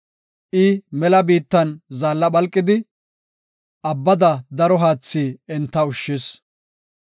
I mela biittan zaalla phalqidi, abbada daro haathi enta ushshis.